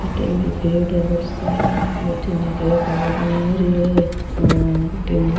बहुत सारो बठीने दो आ रिया है और बठीने --